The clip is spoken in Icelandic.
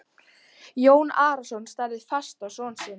Jón Arason starði fast á son sinn.